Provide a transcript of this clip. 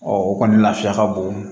o kɔni lafiya ka bon